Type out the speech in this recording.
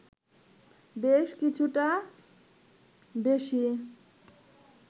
বেশ কিছুটা বেশি